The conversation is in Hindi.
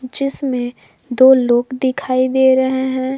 जिसमें दो लोग दिखाई दे रहे हैं।